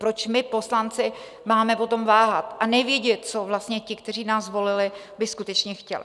Proč my poslanci máme o tom váhat a nevědět, co vlastně ti, kteří nás zvolili, by skutečně chtěli?